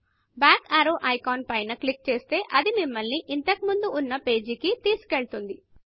back arrowబ్యాక్ arrow icon పై click చేస్తే అది మిమల్ని ఇంతకు ముందు ఉన్న పేజీకి తీసుకెళుతుంది